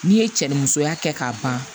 N'i ye cɛ ni musoya kɛ k'a ban